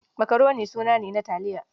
Makaroni suna ne na taliya